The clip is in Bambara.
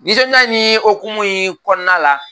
Nisɔndiya nin hukumu in kɔnɔna la